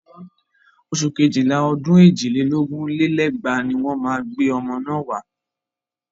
Oṣù kéjìlá ọdún èjì lé lógún lé lẹ́gbàá ni wọ́n máa gbé ọmọ náà wá.